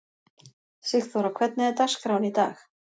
Sigþóra, hvernig er dagskráin í dag?